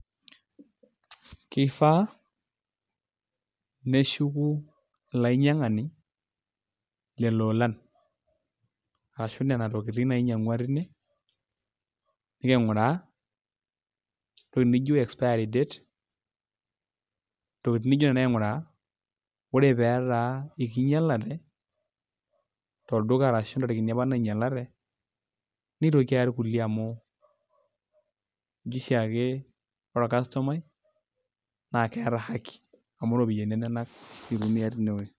Kifaa neshuku olainyiang'ani lelo olan arashu nena tokitin nainyiang'ua tine niking'uraa entoki nijio expiry date intokitin nijio nena aing'uraa ore pee etaa ekinyialate tolduka arashu intarikini apa nainyialate nitoki aya irkulie amu eji ooshiake ore orkastomai naa keeta haki amu iropiyiani enyenak itumia tine wuei.